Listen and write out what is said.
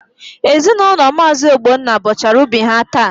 Ezinaụlọ Maazi Ogbonna bọchara ubi ha taa.